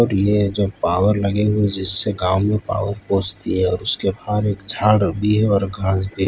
और ये जो पावर लगे हुए हैं जिससे गांव में पावर पहुंचती है और उसके बाहर एक झाड़ भी है और घास भी --